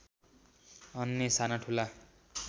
अन्य साना ठूला